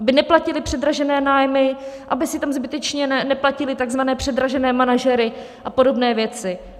Aby neplatily předražené nájmy, aby si tam zbytečně neplatily tzv. předražené manažery a podobné věci.